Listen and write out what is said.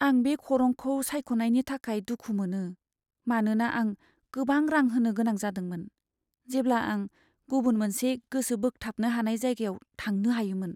आं बे खरंखौ सायख'नायनि थाखाय दुखु मोनो, मानोना आं गोबां रां होनो गोनां जादोंमोन, जेब्ला आं गुबुन मोनसे गोसो बोगथाबनो हानाय जायगायाव थांनो हायोमोन।